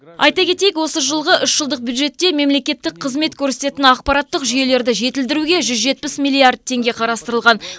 айта кетейік осы жолғы үш жылдық бюджетте мемлекеттік қызмет көрсететін ақпараттық жүйелерді жетілдіруге жүз жетпіс миллиард теңге қарастырылған